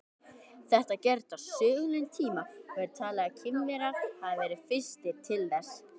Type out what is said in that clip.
Þetta gerist á sögulegum tíma og er talið að Kínverjar hafi verið fyrstir til þess.